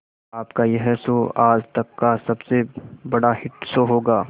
आपका यह शो आज तक का सबसे बड़ा हिट शो होगा